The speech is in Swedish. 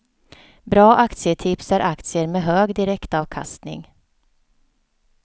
Bra aktietips är aktier med hög direktavkastning.